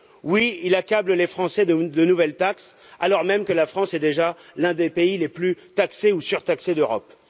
Oui, il accable les Français de nouvelles taxes, alors même que la France est déjà l'un des pays les plus taxés ou surtaxés d'Europe.